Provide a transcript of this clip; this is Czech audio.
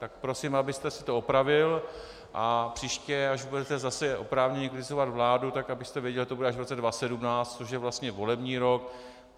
Tak prosím, abyste si to opravil a příště, až budete zase oprávněně kritizovat vládu, tak abyste věděl, že to bude až v roce 2017, což je vlastně volební rok.